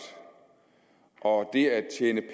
og det at tjene